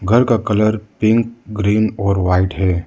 घर का colour pink green और वाइट है।